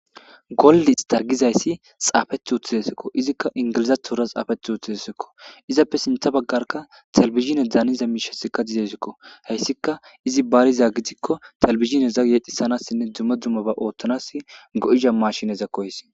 Golliis ta gizayssi xaafeth uththidesekko izikka ingilizatora xaafeth uthidesekko izappe sintha baggarka talbizhine daaniza miishesikka didesekko hayssika izi baariza gidikko talbizhine zagiyeedhisanassinne dume duma ba ooththanas go7iza mashineza koys